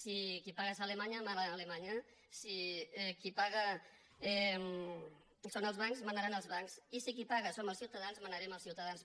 si qui paga és alemanya mana alemanya si qui paga són els bancs manaran els bancs i si qui paga som els ciutadans manarem els ciutadans